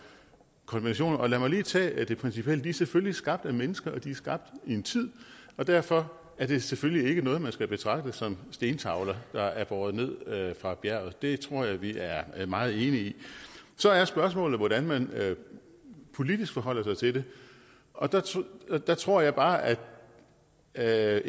konventionerne lad mig lige tage det principielle de er selvfølgelig skabt af mennesker og de er skabt i en tid derfor er det selvfølgelig ikke noget man skal betragte som stentavler der er båret ned fra bjerget det tror jeg vi er er meget enige i så er spørgsmålet hvordan man politisk forholder sig til det og der og der tror jeg bare at at